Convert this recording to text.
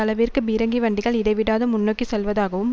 அளவிற்கு பீரங்கி வண்டிகள் இடைவிடாது முன்னோக்கி செல்வதாகவும்